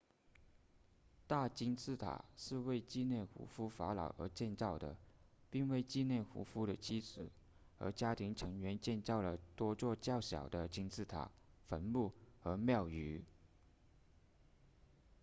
大金字塔是为纪念胡夫法老而建造的并为纪念胡夫的妻子和家庭成员建造了多座较小的金字塔坟墓和庙宇